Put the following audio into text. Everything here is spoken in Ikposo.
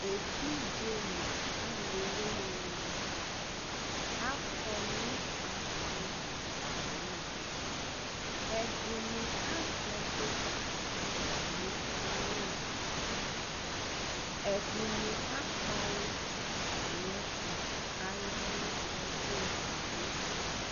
evidze no alò wini ni akɔ no aƒu li kalu ɛdini azɛvi atami awu ni ɛdini akpawu atami ɛto k'aya no ɛfu edigbo